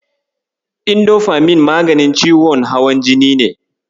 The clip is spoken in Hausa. Indofamin maganin ciwon hawan jini ne.